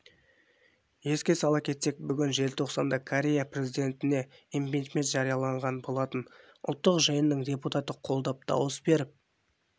еске сала кетсек бүгін желтоқсанда оңтүстік корея президентінеимпичмент жарияланған болатын ұлттық жиынның депутаты қолдап дауыс беріп